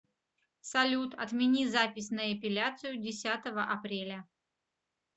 салют отмени запись на эпиляцию десятого апреля